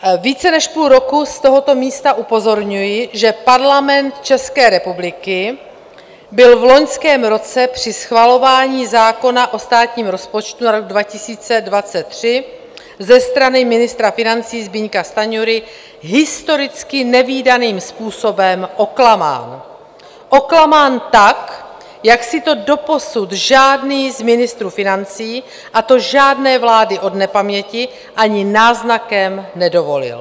Více než půl roku z tohoto místa upozorňuji, že Parlament České republiky byl v loňském roce při schvalování zákona o státním rozpočtu na rok 2023 ze strany ministra financí Zbyňka Stanjury historicky nevídaným způsobem oklamán - oklamán tak, jak si to doposud žádný z ministrů financí, a to žádné vlády od nepaměti, ani náznakem nedovolil.